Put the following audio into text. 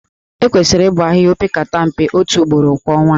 Ekwesịrị ịbọ ahịhịa opekata mpe otu ugboro kwa ọnwa